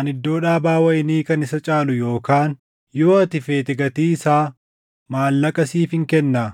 ani iddoo dhaabaa wayinii kan isa caalu yookaan yoo ati feete gatii isaa maallaqa siifin kennaa.”